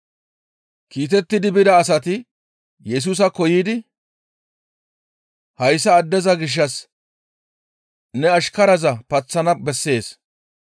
Kiitettidi bida asati Yesusaakko yiidi, «Hayssa addeza gishshas ne ashkaraza paththana bessees.